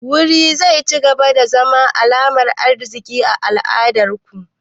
Wuri zai cigaba da zama alamar arziki a al'adar ku?